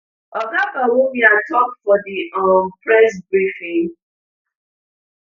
oga bawumia tok for di um press briefing